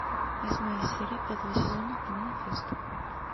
восьмая серия пятого сезона манифест